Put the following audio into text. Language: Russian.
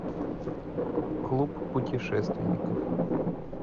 клуб путешественников